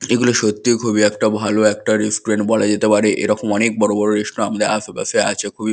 এগুলি সত্যি খুবই একটা ভালো একটা রেস্টুরেন্ট বলা যেতে পারে এরকম অনেক বড় বড় রেস্টুরেন্ট আমাদের আশেপাশে আছে। খুবই।